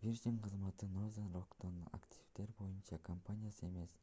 virgin кызматы nothern rock'тон активдер боюнча компанияны эмес